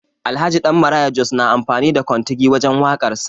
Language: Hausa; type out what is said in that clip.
Alhaji Dan Maraya Jos na amfani da kontigi wajen waƙar sa